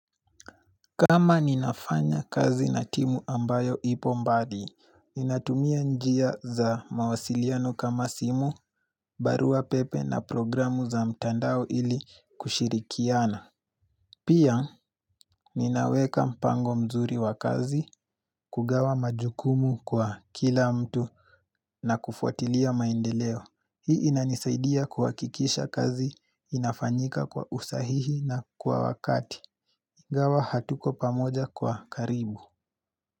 Kama ninafanya kazi na timu ambayo ipo mbali, ninatumia njia za mawasiliano kama simu, barua pepe na programu za mtandao ili kushirikiana. Pia, ninaweka mpango mzuri wa kazi, kugawa majukumu kwa kila mtu na kufuatilia maendeleo. Hii inanisaidia kuhakikisha kazi inafanyika kwa usahihi na kwa wakati. Ingawa hatuko pamoja kwa karibu.